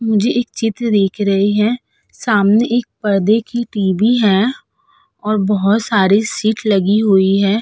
मुझे एक चित्र दिख रही है सामने एक परदे की टी.वी. है और बहौत सारे सीट लगी हुई है।